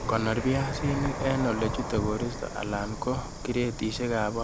Konor biaisnik en olechute koristo alan ko kiretisiekab bokoinik